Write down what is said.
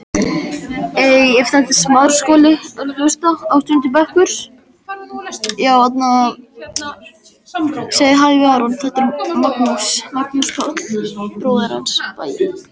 Það er ekki eins og ég hafi stolið þessu.